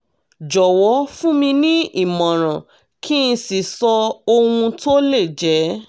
jọ̀wọ́ fún mi ní ìmọ̀ràn kí n sì sọ ohun tó lè jẹ́